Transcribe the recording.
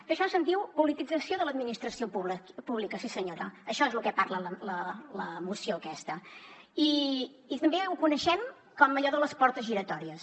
d’això se’n diu politització de l’administració pública sí senyora això és del que parla la moció aquesta i també ho coneixem com allò de les portes giratòries